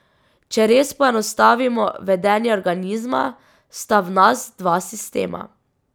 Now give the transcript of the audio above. Če res poenostavimo vedenje organizma, sta v nas dva sistema.